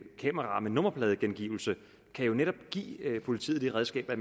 kameraer med nummerpladegengivelse kan jo netop give politiet det redskab at